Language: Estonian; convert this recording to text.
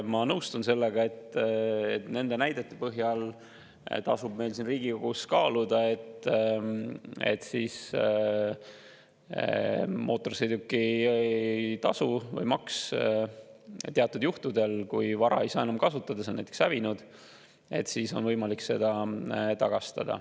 Ma nõustun sellega, et nende näidete põhjal tasub meil siin Riigikogus kaaluda, et teatud juhtudel, kui vara ei saa enam kasutada, see on näiteks hävinud, siis tuleb mootorsõidukimaksu tagastada.